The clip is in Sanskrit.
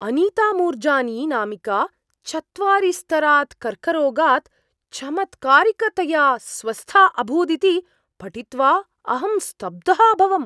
अनिता मूर्जानी नामिका चत्वारि स्तरात् कर्करोगात् चमत्कारिकतया स्वस्था अभूदिति पठित्वा अहं स्तब्धः अभवम्।